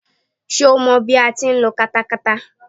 Ṣé o mọ bí a ti ń lo katakata.